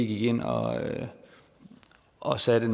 gik ind og og satte